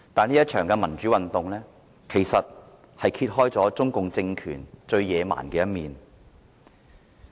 這一場民主運動揭露了中共政權最野蠻的一面。